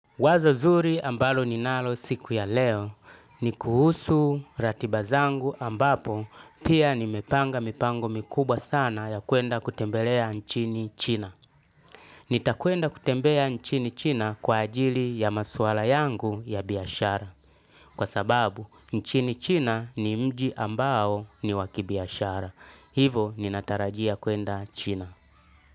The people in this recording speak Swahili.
Wazo zuri ambalo ninalo siku ya leo, ni kuhusu ratiba zangu ambapo pia nimepanga mipango mikubwa sana ya kuenda kutembelea nchini china. Nitakwenda kutembea nchini china kwa ajili ya masuala yangu ya biashara. Kwa sababu, nchini china ni mji ambao ni wakibiashara. Hivo, ninatarajia kuenda china.